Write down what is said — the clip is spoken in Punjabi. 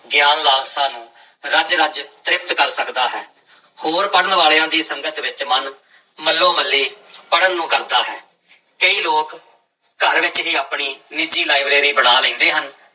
ਗਿਆਨ ਲਾਲਸਾ ਨੂੰ ਰਜ ਰਜ ਤ੍ਰਿਪਤ ਕਰ ਸਕਦਾ ਹੈ, ਹੋਰ ਪੜ੍ਹਨ ਵਾਲਿਆਂ ਦੀ ਸੰਗਤ ਵਿੱਚ ਮਨ ਮੱਲੋ ਮੱਲੀ ਪੜ੍ਹਨ ਨੂੰ ਕਰਦਾ ਹੈ, ਕਈ ਲੋਕ ਘਰ ਵਿੱਚ ਹੀ ਆਪਣੀ ਨਿੱਜੀ ਲਾਇਬ੍ਰੇਰੀ ਬਣਾ ਲੈਂਦੇ ਹਨ।